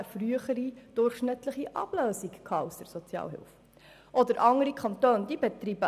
Zudem wurde durchschnittlich eine frühere Ablösung aus der Sozialhilfe von über einem halben Jahr erzielt.